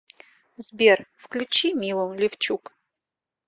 сбер включи милу левчук